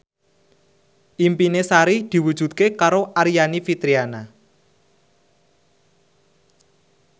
impine Sari diwujudke karo Aryani Fitriana